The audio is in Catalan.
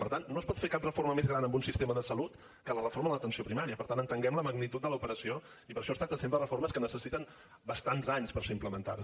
per tant no es pot fer cap reforma més gran en un sistema de salut que la reforma de l’atenció primària per tant entenguem la magnitud de l’operació i per això es tracta sempre de reformes que necessiten bastants anys per ser implementades